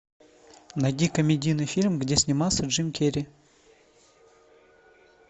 найди комедийный фильм где снимался джим керри